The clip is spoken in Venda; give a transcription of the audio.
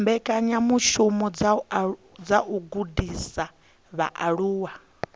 mbekanyamishumo dza u gudisa vhaaluwa